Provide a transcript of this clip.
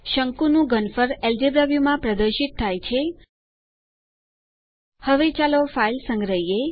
શંકુનું ઘનફળ એલ્જેબ્રા વ્યુમાં પ્રદર્શિત થાય છે હવે ચાલો ફાઈલ સંગ્રહિયે